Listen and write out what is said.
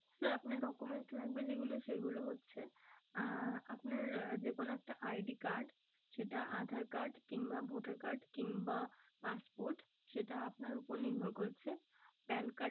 Sir আপনার documents লাগবে যে গুলো সেগুলো হচ্ছে, আহ আপনার যে কোনো একটা ID card সেটা aadhaar card কিংবা voter card কিংবা passport সেটা আপনার ওপর নির্ভর করছে। PAN card